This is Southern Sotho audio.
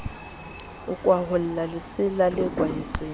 a kwaholla lesela le kwahetseng